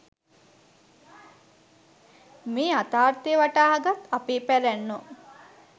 මේ යථාර්ථය වටහාගත් අපේ පැරැන්නෝ